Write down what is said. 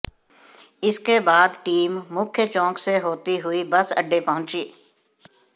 इसके बाद टीम मुख्य चौक से होती हुई बस अड्डे पहुंची